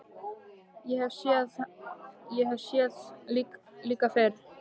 Ég hef séð hennar líka fyrr.